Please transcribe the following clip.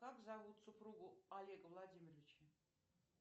как зовут супругу олега владимировича